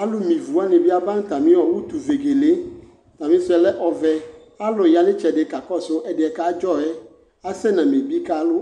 alu me ivuwani bi aba nu atami utu vegele atamisuɛ lɛ ɔvɛ atani ya nu itsɛdi kakɔsu ɛsɛ kadzɔ yɛ asɛ nu amebi kalu